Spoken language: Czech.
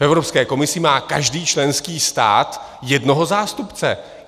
V Evropské komisi má každý členský stát jednoho zástupce.